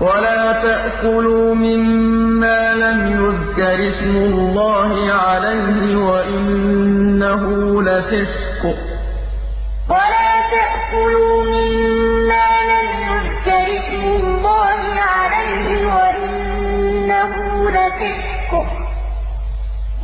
وَلَا تَأْكُلُوا مِمَّا لَمْ يُذْكَرِ اسْمُ اللَّهِ عَلَيْهِ وَإِنَّهُ لَفِسْقٌ ۗ